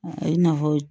O ye nafolo